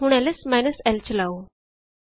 ਹੁਣ L S minus l ਚਲਾਓ